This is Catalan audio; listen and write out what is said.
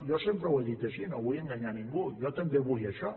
jo sempre ho he dit així no vull enganyar ningú jo també vull això